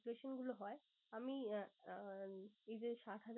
গুলো হয়। আমি আঁ আহ এই যে